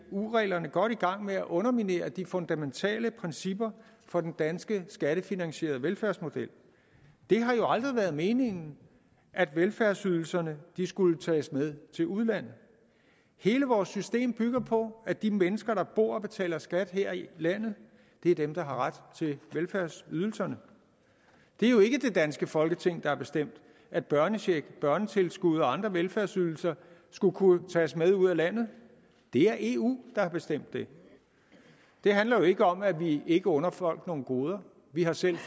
eu reglerne godt i gang med at underminere de fundamentale principper for den danske skattefinansierede velfærdsmodel det har jo aldrig været meningen at velfærdsydelserne skulle tages med til udlandet hele vores system bygger på at de mennesker der bor og betaler skat her i landet er dem der har ret til velfærdsydelserne det er jo ikke det danske folketing der har bestemt at børnechecken børnetilskud og andre velfærdsydelser skulle kunne tages med ud af landet det er eu der har bestemt det det handler jo ikke om at vi ikke under folk nogle goder vi har selv